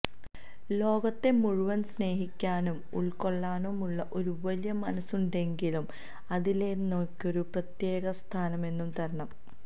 ലോകത്തെ മുഴുവന് സ്നേഹിക്കാനും ഉള്ക്കൊള്ളാനുമുള്ള ഒരു വലിയ മനസ്സുണ്ടെങ്കിലും അതിലെനിക്കൊരു പ്രത്യേകസ്ഥാനം എന്നും തരണം